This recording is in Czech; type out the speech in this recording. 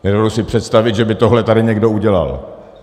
Nedovedu si představit, že by tohle tady někdo udělal.